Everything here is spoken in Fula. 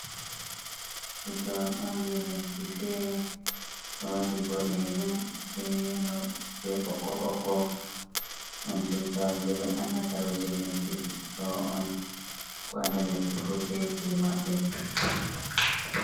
Tutawal on je lesdi fere ɗo waɗi bodejon be yelo be boko boko, on tutawal je be andata ɗo je lesdi ɗo on l fu be je maɓɓe.